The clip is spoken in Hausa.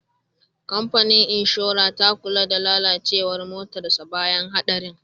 Kamfanin inshora ta kula da lalacewar motarsa ​​bayan hadarin.